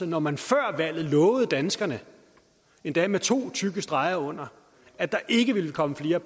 når man før valget lovede danskerne endda med to tykke streger under at der ikke ville komme flere